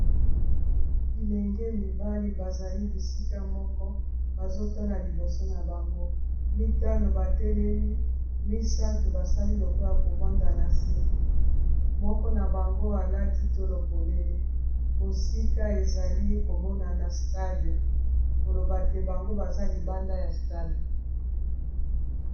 Bilenge mibali bazali bisika moko bazotala liboso na bango mitano batelemi misato basali lokola kovanda na se moko na bango alati to lopolele mosika ezali komona na stade koloba te bango baza libanda ya stade.